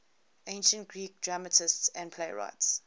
ancient greek dramatists and playwrights